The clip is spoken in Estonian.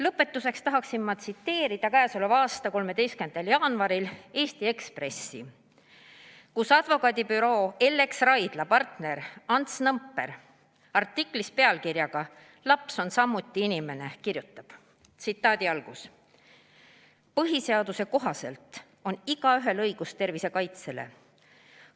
Lõpetuseks tahan tsiteerida käesoleva aasta 13. jaanuari Eesti Ekspressi, kus advokaadibüroo Ellex Raidla partner Ants Nõmper kirjutab artiklis pealkirjaga "Laps on samuti inimene": "Põhiseaduse kohaselt on igaühel õigus tervise kaitsele.